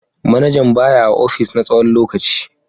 Manajan ba ya a opis na tsawon lokaci.